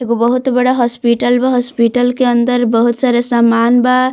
एगो बहुत बड़ा हॉस्पिटल बा हॉस्पिटल के अंदर बहुत सारा सामान बा।